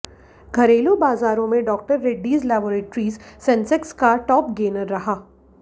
घरेलू बाज़ारों में डॉ रेड्डीज लैबोरेटरीज सेंसेक्स का टॉप गेनर रहा